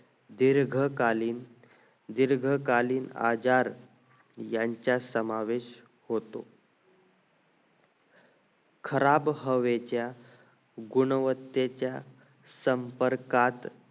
दीर्घकालीन दीर्घकालीन आजार यांचा समावेश होतो खराब हवेच्या गुणवत्ते च्या संपर्कात